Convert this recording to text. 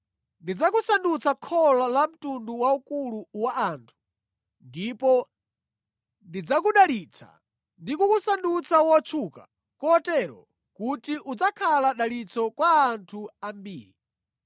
“Ndidzakusandutsa kholo la mtundu waukulu wa anthu ndipo ndidzakudalitsa; ndi kukusandutsa wotchuka kotero kuti udzakhala dalitso kwa anthu ambiri.